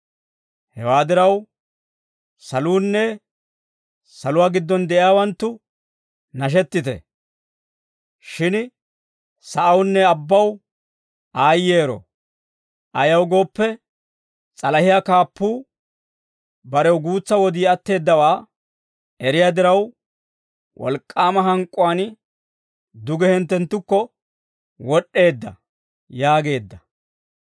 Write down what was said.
Hewaa diraw, saluunne saluwaa giddon de'iyaawanttu, nashettite. Shin sa'awunne abbaw aayyeero! Ayaw gooppe, s'alahiyaa kaappuu, barew guutsa wodii atteeddawaa eriyaa diraw, wolk'k'aama hank'k'uwaan, duge hinttenttukko wod'd'eedda» yaageedda.